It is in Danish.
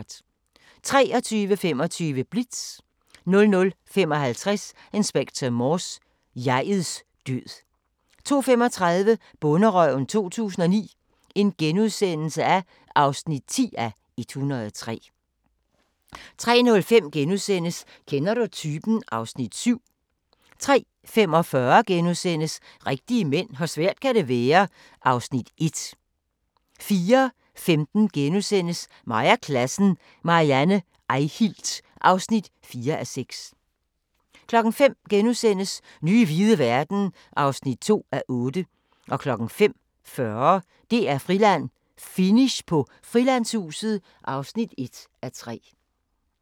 23:25: Blitz 00:55: Inspector Morse: Jeg'ets død 02:35: Bonderøven 2009 (10:103)* 03:05: Kender du typen? (Afs. 7)* 03:45: Rigtige mænd - hvor svært kan det være? (Afs. 1)* 04:15: Mig og klassen – Marianne Eihilt (4:6)* 05:00: Nye hvide verden (2:8)* 05:40: DR-Friland: Finish på Frilandshuset (1:3)